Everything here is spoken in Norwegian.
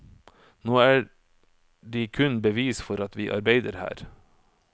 Nå er de kun bevis for at vi arbeider her.